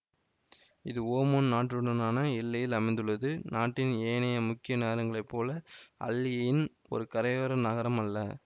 இது ஓமான் நாட்டுடனான எல்லையில் அமைந்துள்ளது நாட்டின் ஏனைய முக்கிய நகரங்களைப் போல அல் எயின் ஒரு கரையோர நகரம் அல்ல